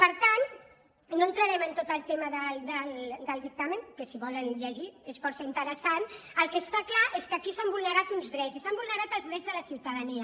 per tant no entrarem en tot el tema del dictamen que si el volen llegir és força interessant el que està clar és que aquí s’han vulnerat uns drets i s’han vulnerat els drets de la ciutadania